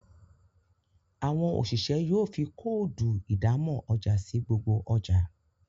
Àwọn oṣiṣẹ yóò fí Kóòdù ìdámọ̀ ọjà sí gbogbo ọjà